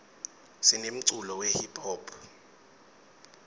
sinemculo we hiphop